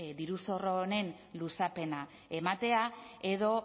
diru zorro honen luzapena ematea edo